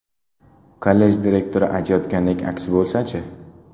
Kollej direktori aytayotgandek aksi bo‘lsa-chi?